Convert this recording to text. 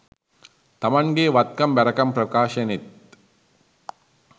තමන්ගෙ වත්කම් බැරකම් ප්‍රකාශනෙත්